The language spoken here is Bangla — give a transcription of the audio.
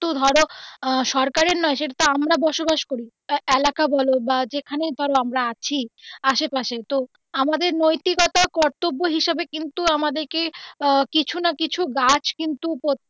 তো ধরো সরকারের নয় সেটাতো আমরা বসবাস করি এলাকা বলো বা যেখানেই ধরো আমরা আছি আসে পাশে তো আমাদের নৈতিক একটা কর্তব্য হিসাবে কিন্তু আমাদের কে আহ কিছু না কিছু গাছ কিন্তু প্রত্যেক.